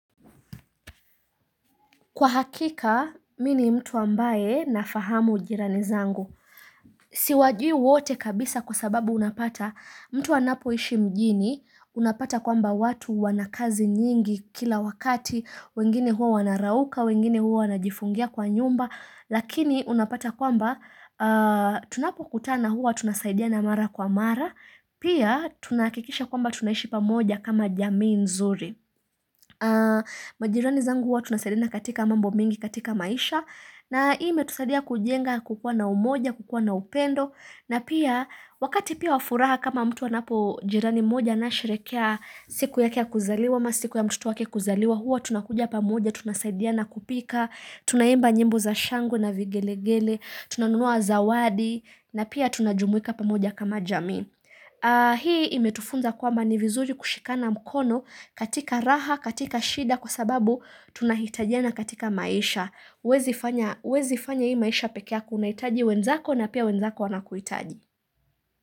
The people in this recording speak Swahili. Kwa hakika, mii ni mtu ambaye nafahamu ujirani zangu. Siwajui wote kabisa kwa sababu unapata mtu anapo ishi mjini, unapata kwamba watu wana kazi nyingi kila wakati, wengine huo wanarauka, wengine huo wanajifungia kwa nyumba, lakini unapata kwamba tunapo kutana huwa tunasaidia mara kwa mara, pia tunahakikisha kwamba tunashi pamoja kama jamii nzuri. Majirani zangu huwa tunasaidina katika mambo mingi katika maisha na hii imetusadia kujenga kukuwa na umoja, kukuwa na upendo na pia wakati pia wa furaha kama mtu anapo jirani moja Anasherekea siku ya kia kuzaliwa, ama siku ya mtoto wake kuzaliwa Huwa tunakuja pamoja, tunasaidia na kupika Tunaimba nyimbo za shangwe na vigelegele Tunanunua zawadi na pia tunajumuika pamoja kama jami Hii imetufunza kuwa ni vizuri kushikana mkono katika raha, katika shida kwa sababu tunahitajiana katika maisha Hiwezi fanya hii maisha pekee yako una hitaji wenzako na pia wenzako wanakuhitaji.